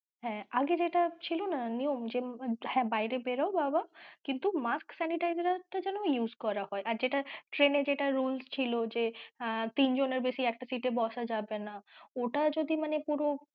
হ্যাঁ আগে যেটা ছিল না new যে মানে বাইরে বেরাও বাবা কিন্তু mask sanitizer টা যেন use করা হয় আর যেটা train এ যেটা rules ছিল যে আহ তিনজনের বেশি একটা seat এ বসা যাবে না